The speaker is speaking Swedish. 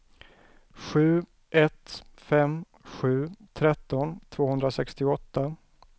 sju ett fem sju tretton tvåhundrasextioåtta